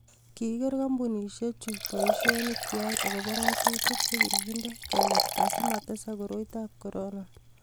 kiker kampunisiechu boisionikwach akubo ng'atutik che kikinde kekerta asimatesaka koroitab korona